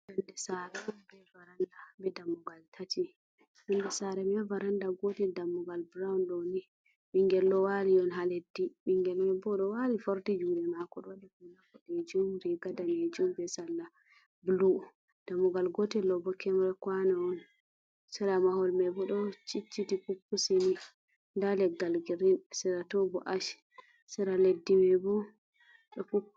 Yonde sare be dammugal tati, yonde sare man ha varanda gotel dammugal burawun ɗooni ɓingel ɗoo wali on ha leddi, ɓingel manni ɗoo wali forti juɗee mako, be riga danejum be sarla bulu. Dammugal gotel ɗobo ƙeyre kwano on, sare mahol man ɗoo cicciti puppusi ni, nda leggal girin sera toh bo ash, sera leddi man bo ɗoo pup.